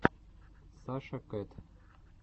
саша кэт